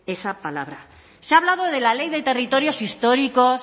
esa palabra se ha hablado de la ley de territorios históricos